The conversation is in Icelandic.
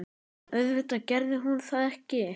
En auðvitað gerði hún það ekki.